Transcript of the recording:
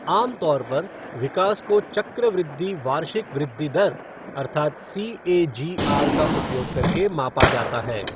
आमतौर पर, विकास को चक्रवृद्धि वार्षिक वृद्धि दर अर्थात सीएजीआर का उपयोग करके मापा जाता है।